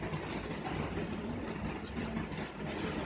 और कुर्सी भी हे और पीछे में एक डब्बा भी रक --